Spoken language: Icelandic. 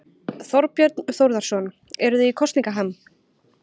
Þorbjörn Þórðarson: Eruð þið í kosningaham?